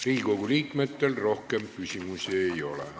Riigikogu liikmetel rohkem küsimusi ei ole.